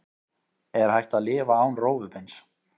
Er hægt að lifa án rófubeins?